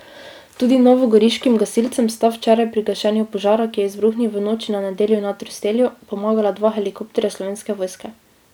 Tudi novogoriškim gasilcem sta včeraj pri gašenju požara, ki je izbruhnil v noči na nedeljo na Trstelju, pomagala dva helikopterja Slovenske vojske.